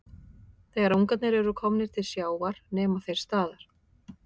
Þegar ungarnir eru komnir til sjávar nema þeir staðar.